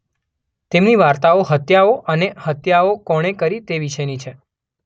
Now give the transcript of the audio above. તેમની વાર્તાઓ હત્યાઓ અને તે હત્યાઓ કોણે કરી તે વિશેની છે.